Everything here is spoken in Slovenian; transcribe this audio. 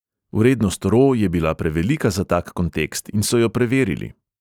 Vrednost ro je bila prevelika za tak kontekst in so jo preverili.